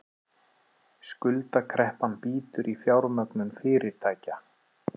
Skuldakreppan bítur í fjármögnun fyrirtækja